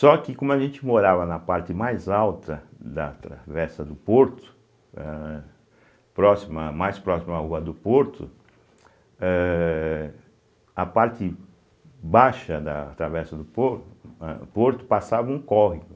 Só que como a gente morava na parte mais alta da travessa do porto, eh próxima mais próxima à rua do porto, eh a parte baixa da travessa do por eh porto passava um córrego.